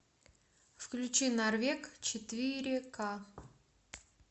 включи норвег четыре к